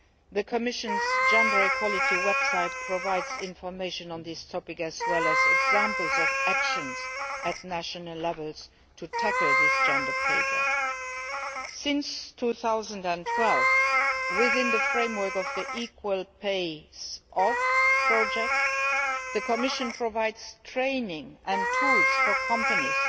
The Commission's gender equality website provides information on this topic as well as examples at national level of how to tackle the pay gap. Since 2012, within the framework of the Equality Pays Off project, the Commission has provided training and tools to companies